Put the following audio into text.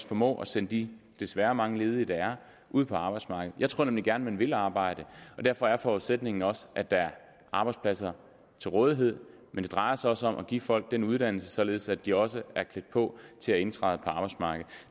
formå at sende de desværre mange ledige der er ud på arbejdsmarkedet jeg tror nemlig at man gerne vil arbejde og derfor er forudsætningen også at der er arbejdspladser til rådighed men det drejer sig også om at give folk uddannelse således at de også er klædt på til at indtræde på arbejdsmarkedet